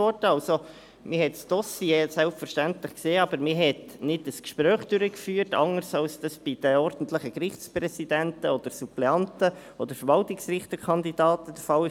Man hat das Dossier selbstverständlich gesehen, aber man führte kein Gespräch durch, anders als dies bei den ordentlichen Gerichtspräsidenten, Suppleanten oder Verwaltungsrichterkandidaten der Fall ist.